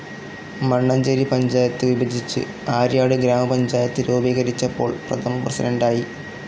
മണ്ണഞ്ചേരി പഞ്ചായത്ത് വിഭജിച്ച് ആര്യാട് ഗ്രാമപഞ്ചായത്ത് രൂപീകരിച്ചപ്പോൾ പ്രഥമ പ്രസിഡന്റായി.